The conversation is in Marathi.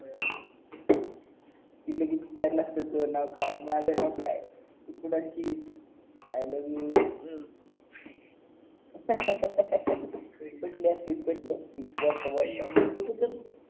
ति लगेच विचारलं असता तर नाव काय माझं नाव काय आय लव यू अं कई बोलतंय